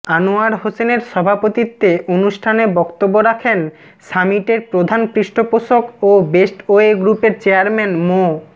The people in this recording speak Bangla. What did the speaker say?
আনোয়ার হোসেনের সভাপতিত্বে অনুষ্ঠানে বক্তব্য রাখেন সামিটের প্রধান পৃষ্ঠপোষক ও বেস্টওয়ে গ্রুপের চেয়ারম্যান মো